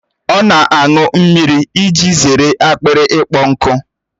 Ọ na-aṅụ mmiri iji zere akpịrị ịkpọ nkụ